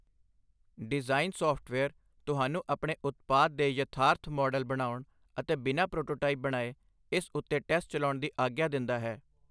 Design software ਤੁਹਾਨੂੰ ਆਪਣੇ ਉਤਪਾਦ ਦੇ ਯਥਾਰਥ ਮਾਡਲ ਬਣਾਉਣ ਅਤੇ ਬਿਨਾਂ ਪ੍ਰੋਟੋਟਾਈਪ ਬਣਾਏ, ਇਸ ਉੱਤੇ ਟੈਸਟ ਚਲਾਉਣ ਦੀ ਆਗਿਆ ਦਿੰਦਾ ਹੈ।